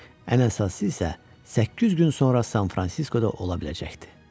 Ən əsası isə səkkiz gün sonra San-Fransiskoda ola biləcəkdi.